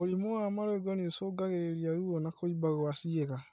Mũrimũ wa marũngo nĩũcũngagĩrĩria ruo na kũimba gwa ciĩga